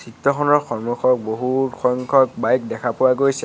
দৃত্য খনৰ সন্মুখত বহুত সংখ্যক বাইক দেখা পোৱা গৈছে।